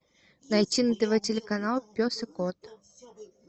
найти на тв телеканал пес и кот